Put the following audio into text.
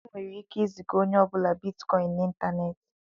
E nwere ike ị ziga onye ọ bụla bitikọin n'Ịntaneti.